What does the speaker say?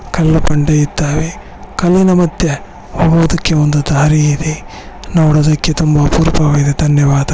ಕಲ್ಲು ಬಂಡೆ ಇದ್ದಾವೆ ಕಲ್ಲಿನ ಮಧ್ಯೆ ಹೋಗುವುದಕ್ಕೆ ಒಂದು ದಾರಿ ಇದೆ ನೋಡುವುದಕ್ಕೆ ತುಂಬಾ ಅಪರೂಪವಾಗಿದೆ ಧನ್ಯವಾದ.